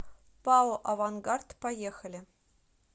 пао авангард поехали